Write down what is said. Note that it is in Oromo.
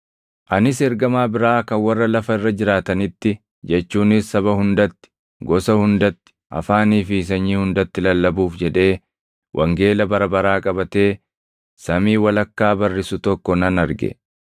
Anis ergamaa biraa kan warra lafa irra jiraatanitti jechuunis saba hundatti, gosa hundatti, afaanii fi sanyii hundatti lallabuuf jedhee wangeela bara baraa qabatee samii walakkaa barrisu tokko nan arge.